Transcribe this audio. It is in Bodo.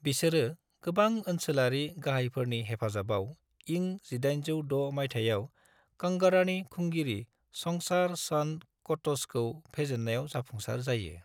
बिसोरो गोबां ओनसोलारि गाहायफोरनि हेफाजाबाव इं 1806 माइथायाव कांगड़ानि खुंगिरि संसार चंद कट'चखौ फेजेन्नायाव जाफुंसार जायो ।